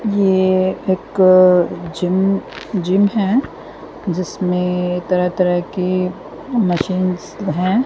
ये एक gym gym है जिसमें तरह-तरह के मशीन्स है।